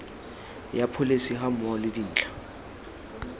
ya pholesi gammogo le dintlha